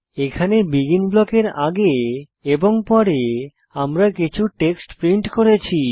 এখানে বেগিন ব্লকের আগে এবং পরে আমরা কিছু টেক্সট প্রিন্ট করেছি